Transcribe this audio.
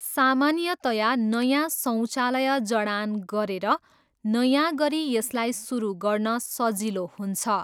सामान्यतया नयाँ शौचालय जडान गरेर नयाँ गरी यसलाई सुरु गर्न सजिलो हुन्छ।